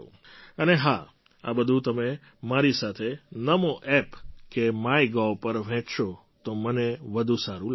અને હા આ બધું તમે મારી સાથે NamoApp કે માયગોવ પર વહેંચશો તો મને વધુ સારું લાગશે